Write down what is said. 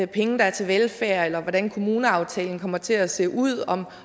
penge der er til velfærd eller hvordan kommuneaftalen kommer til at se ud om